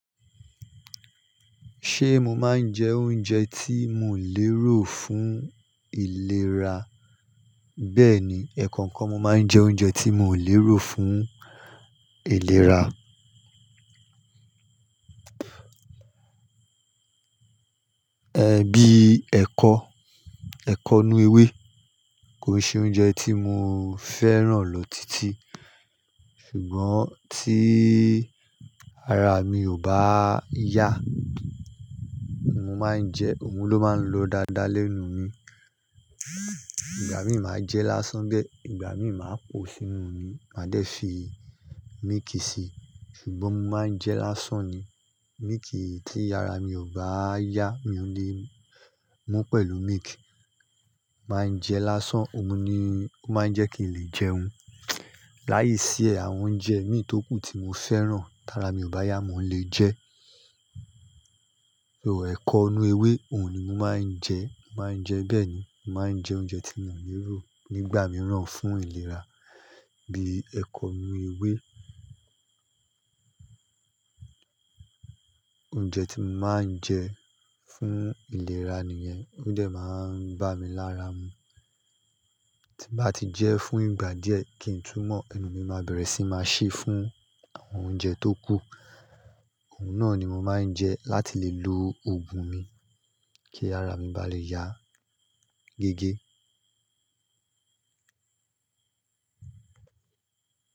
Ṣé mo máa ń jẹ oúnjẹ tí mo lè ró fún ìlera? Bẹ́ẹ̀ni, ẹ̀ kọ̀ọ̀kan mo máa ń jẹ oúnjẹ tí mo lè ró fún ìlera. Ẹ̀ bí ẹkọ, ẹkọ nú ewé kò ṣe oúnjẹ tí mo fẹ́ràn lọ títí. Ṣùgbọ́n tí ara mi ò bá yá, mo máa ń jẹ ọ̀ún ló máa ń lọ dáadáa lẹ́nu mi. Ìgbà mí màá jẹ lásán gbẹ, ìgbà mí màá po sínú omi, mádé fi mííkì si. Ṣùgbọ́n mo máa ń jẹ lásán ni. Mííkì tí ara mi ò bá yá, mi ò lè mú pẹ̀lú mííkì. Màá jẹ lásán, òun ni ó máa ń jẹ́ kí n lè jẹun. Láìsí ẹ̀ àwọn oúnjẹ míì tókù tí mo fẹ́ràn, tía ara mi ò bá yá, mo lè jẹ. Ẹ̀ kọ inú ewé òun ni mo máa ń jẹ. Mo máa ń jẹ bẹ́ẹ̀ni, mo máa ń jẹ oúnjẹ tí mo lè ró nígbà mìíràn fún ìlera bí ẹkọ inú ewé. Oúnjẹ tí mo máa ń jẹ fún ìlera nìyẹn, oúnjẹ máa ń bá mi lára mu. Tí bá ti jẹ́ fún ìgbà díẹ̀ kí ń túmọ̀, ẹnu mi máa bẹ̀rẹ̀ sí máa ṣí fún àwọn oúnjẹ tókù. Òun náà ni mo máa ń jẹ láti lè lu ogun mi kí ara mi bá lè yá gẹ́gẹ́